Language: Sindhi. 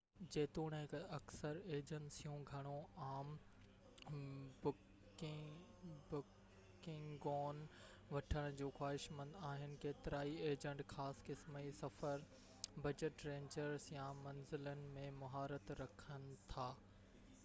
جيتوڻيڪ اڪثر ايجنسيون گهڻو عام بڪنگون وٺڻ جون خواهشمند آهن ڪيترائي ايجنٽ خاص قسم جي سفر بجٽ رينجز يا منزلن ۾ مهارت رکن ٿا